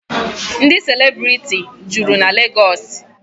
Ndị celebrity juru na Legọọsị.